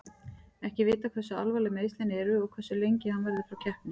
Ekki er vitað hversu alvarleg meiðslin eru og hversu lengi hann verður frá keppni.